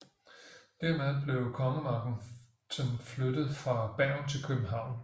Dermed blev kongemagten flyttet fra Bergen til København